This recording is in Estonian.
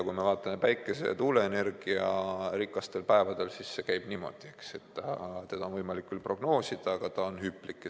Kui me vaatame päikese- ja tuuleenergiarikkaid päevi, siis see on nii, et seda on võimalik küll prognoosida, aga see on hüplik.